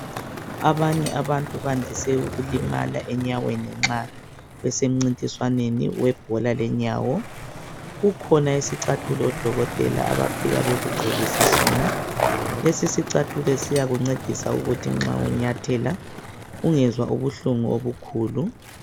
Abanye abantu bandize ukulimala enyaweni nxa besemcindiswaneni webhola lenyawo. Kukhona isicathulo odokotela bafike bekugqokise sona. Lesi sicathulo siyakucedisa ukuthi nxa unyathela ungezwa ukuhlungu obukhulu.